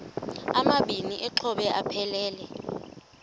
amabini exhobe aphelela